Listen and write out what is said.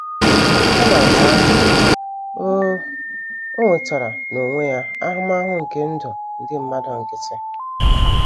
Kama nke ahụ, o, o nwetara n’onwe ya ahụmahụ nke ndụ ndị mmadụ nkịtị.